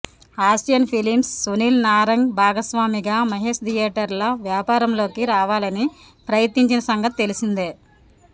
Asian Films Sunil Narang భాగస్వామిగా మహేశ్ థియేటర్ల వ్యాపారంలోకి రావాలని ప్రయత్నించిన సంగతి తెలిసిందే